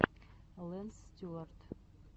лэнс стюарт